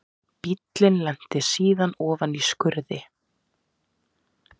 Bíllinn lenti síðan ofan í skurði